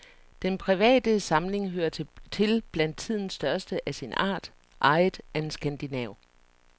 Den private samling hører til blandt tidens største af sin art, ejet af en skandinav.